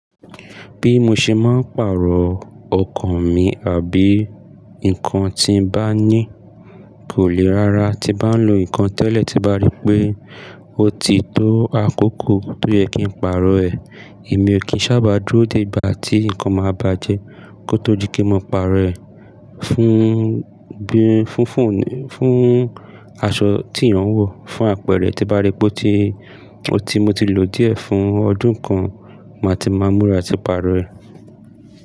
Bí mo ṣe máa ń pàrọ̀ ọkọ̀ mi àbí nǹkan tí mo bá ní kò le rá rà. Tí bá ń lo nǹkan tẹ́lẹ̀ tí bá rí pé ó ti tó àkókò tó yẹ kí n pàrọ̀ ẹ̀, èmi ò kí ń sábà dúró dé ìgbà tí nǹkan máa bàjẹ́ kó tó dí kí n lo pàrọ̀ ẹ̀ fún bí, fún, fún, fún aṣọ tí ìran ń wò, fún àpẹrẹ tí bá rí pé ó ti, ó ti mo ti lò díẹ̀ fún ọdún kan, màá ti máa múra tí pàrọ̀ ẹ̀.